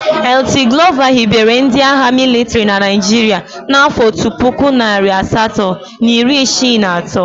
Lt Glover hibere ndị agha mịlịtrị na Naịjirịa n'afọ otu puku, narị asatọ na iri isii na atọ.